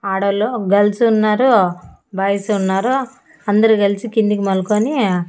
ఆడోళ్ళు గర్ల్స్ ఉన్నారు బాయ్స్ ఉన్నారు అందరు కలిసి కిందికి మల్కోని--